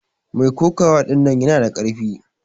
Mai kokawa ɗinnan yana da karfi.